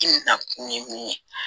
Timinakun ye mun ye